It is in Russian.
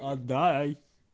отдай